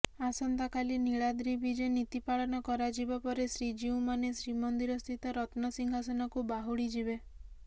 ଆସନ୍ତାକାଲି ନୀଳାଦ୍ରି ବିଜେ ନୀତି ପାଳନ କରାଯିବା ପରେ ଶ୍ରୀଜୀଉମାନେ ଶ୍ରୀମନ୍ଦିରସ୍ଥିତ ରତ୍ନସିଂହାସନକୁ ବାହୁଡ଼ି ଯିବେ